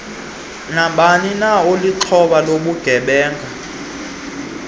nabanina olixhoba lobugebenga